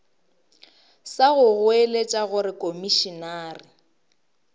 sa go goeletša gore komišenare